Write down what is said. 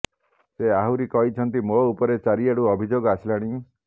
ସେ ଆହୁରି କହିଛନ୍ତି ମୋ ଉପରେ ଚାରିଆଡୁ ଅଭିଯୋଗ ଆସିଲାଣି